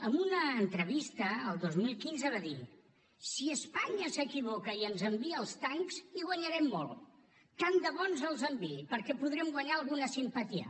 en una entrevista el dos mil quinze va dir si espanya s’equivoca i ens envia els tancs hi guanyarem molt tant de bo ens els enviï perquè podrem guanyar alguna simpatia